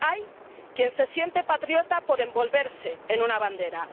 Hay quien se siente patriota por envolverse en una bandera.